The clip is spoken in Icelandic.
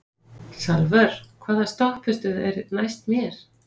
Salvör, hvaða stoppistöð er næst mér?